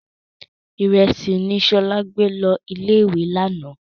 Ìrẹsì ni Ṣọlá gbé lọ ilé-ìwé lánàá.